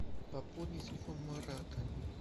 пополни телефон марата